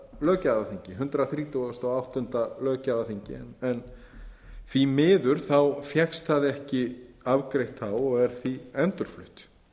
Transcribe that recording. löggjafarþingi hundrað þrítugasta og áttunda löggjafarþingi en því miður fékkst það ekki afgreitt þá og er því endurflutt